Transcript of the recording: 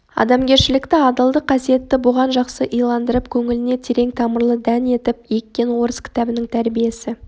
адамгершілікті адалдық қасиетті бұған жақсы иландырып көңіліне терең тамырлы дән етіп еккен орыс кітабының тәрбиесі